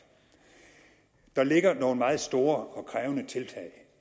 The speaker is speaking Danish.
der ligger nogle meget store og krævende tiltag